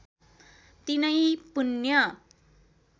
तिनै पुण्य